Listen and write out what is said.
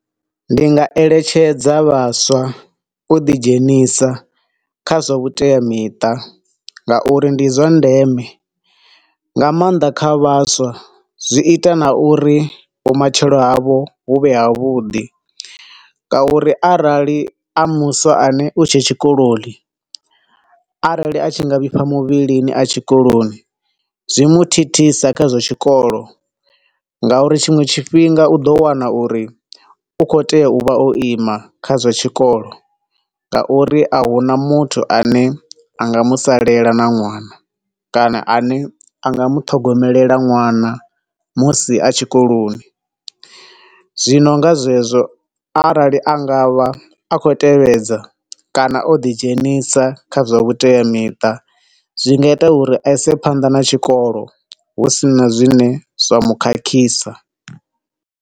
Ndi nga eletshedza vhaswa u dzi dzhenisa kha zwavhuteamiṱa nga uri ndi zwa ndeme nga maanḓa kha vhaswa, zwi ita na uri vhomatshelo havho hu vhe ha vhuḓi nga uri arali a muswa ane u tshe tshikoloni, arali anga vhifha muvhilini atshe tshikoni zwi mu thithisa kha zwa tshikolo nga uri tshiṅwe tshifhinga u ḓo wana uri u khou tea u vha o ima kha zwa tshikolo nga uri a huna muthu ane anga musalela na ṅwana, kana ane anga muṱhogomelela ṅwana musi a tshikoloni. Zwino nga zwezwo arali anga vha akhou tevhedza kana u ḓi dzhenisa kha zwavhuteamiṱa zwi nga ita uri a ise phanḓa na tshikolo husina zwine zwa mukhakhisa.